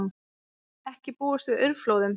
Ekki búist við aurflóðum